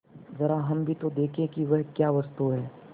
जरा हम भी तो देखें कि वह क्या वस्तु है